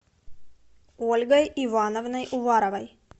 ольгой ивановной уваровой